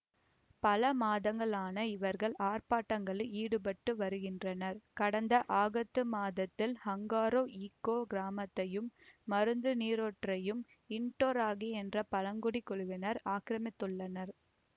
பல மாதங்களாக இவர்கள் ஆர்ப்பாட்டங்களில் ஈடுபட்டு வருகின்றனர் கடந்த ஆகத்து மாதத்தில் ஹங்காரோ ஈக்கோ கிராமத்தையும் மருத்து நீரூற்றையும் இட்டோராங்கி என்ற பழங்குடிக் குழுவினர் ஆக்கிரமித்துள்ளனர்